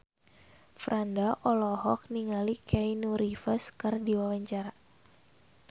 Franda olohok ningali Keanu Reeves keur diwawancara